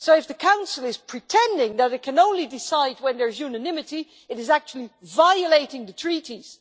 If the Council is pretending that it can only decide when there is unanimity, it is actually violating the treaties.